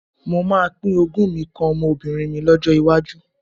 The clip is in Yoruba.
Mo máa pín ogún mi kan ọmọbìnrin mi lọ́jọ́ iwájú.